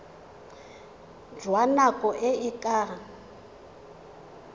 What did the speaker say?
jwa nako e e ka